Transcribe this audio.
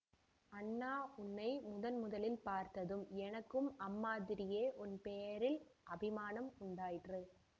அண்ணா உன்னை முதன் முதலில் பார்த்ததும் எனக்கும் அம்மாதிரியே உன் பேரில் அபிமானம் உண்டாயிற்று